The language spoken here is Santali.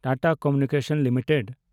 Tata communications limited